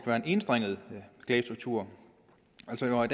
være en enstrenget klagestruktur